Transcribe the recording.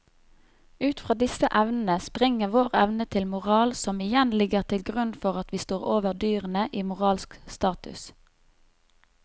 Ut fra disse evnene springer vår evne til moral som igjen ligger til grunn for at vi står over dyrene i moralsk status.